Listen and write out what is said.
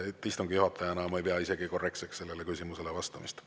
Istungi juhatajana ma ei pea isegi korrektseks sellele küsimusele vastamist.